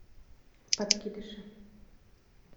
подкидыши